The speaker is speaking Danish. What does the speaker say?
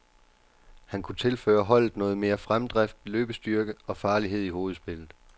Han kunne tilføre holdet noget mere fremdrift, løbestyrke og farlighed i hovedspillet.